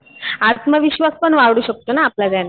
आत्मविश्वास पण वाढू शकतो ना आपला त्याने.